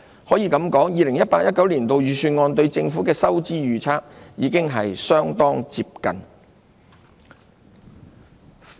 可以這樣說 ，2018-2019 年度預算案對政府財政狀況的預測已相當接近。